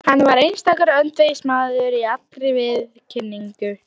Hann var einstakur öndvegismaður í allri viðkynningu.